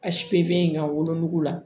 A in ka wolonugu la